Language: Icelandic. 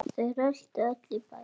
Hún fer til hans.